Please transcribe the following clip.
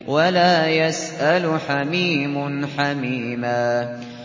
وَلَا يَسْأَلُ حَمِيمٌ حَمِيمًا